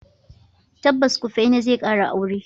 Tabbas, Kufena zai kara aure.